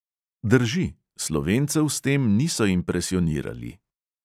Drži, slovencev s tem niso impresionirali.